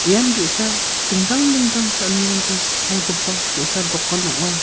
ian ge·sa dingtang dingtang cha·anirangko palgipa ge·sa dokan ong·a.